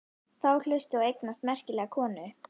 Þá hlaustu að eignast merkilega konu.